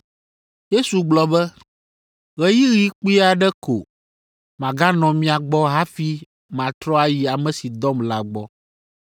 Yesu gblɔ be, “Ɣeyiɣi kpui aɖe ko maganɔ mia gbɔ hafi matrɔ ayi ame si dɔm la gbɔ.